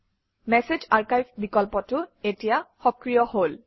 message archive বিকল্পটো এতিয়া সক্ৰিয় হল